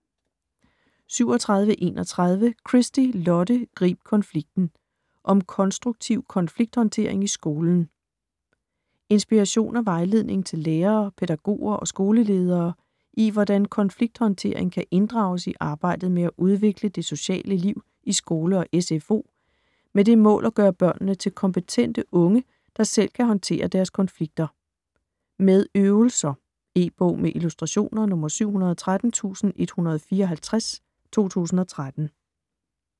37.31 Christy, Lotte: Grib konflikten: om konstruktiv konflikthåndtering i skolen Inspiration og vejledning til lærere, pædagoger og skoleledere i hvordan konflikthåndtering kan inddrages i arbejdet med at udvikle det sociale liv i skole og SFO, med det mål at gøre børnene til kompetente unge der selv kan håndtere deres konflikter. Med øvelser. E-bog med illustrationer 713154 2013.